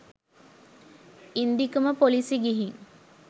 ඉන්දිකම police ගිහින්